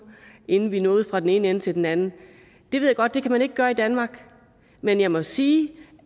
inden vi nåede fra den ene ende til den anden det ved jeg godt man ikke kan gøre i danmark men jeg må sige